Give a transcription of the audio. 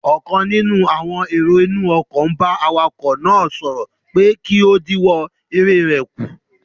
Ọ̀kan nínú àwọn èrò inú ọkọ̀ n bá awakọ̀ náà sọ̀rọ̀ pé kí ó dínwọ́ eré rẹ̀ kù